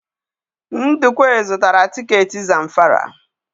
Ndukwe zụtara tiketi Zamfara.